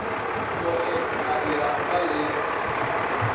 no et a dirapama le